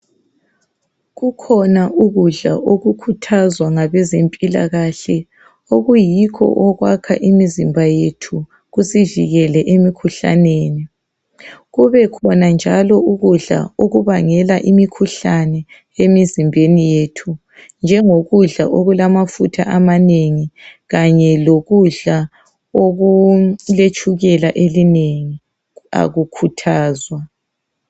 Kukhona ukudla okukhuthazwa ngabezempilakahle okuyikho okwakha imizimba yethu kusivikele emikhuhlaneni. Kube khona njalo ukudla okubangela imikhuhlane emizimbeni yethu, njengokudla okulamafutha amanengi kanye lokudla okuletshukela elinengi akukhuthazwa.